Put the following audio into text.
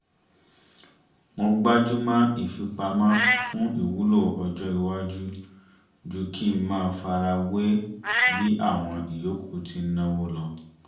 mo gbajúmọ̀ ìfipamọ́ fún ìwúlò ọjọ́ iwájú ju kí ń máa fara wé bí àwọn ìyókù ti ń náwó lọ